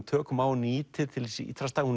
tökum á og nýtir til hins ítrasta hún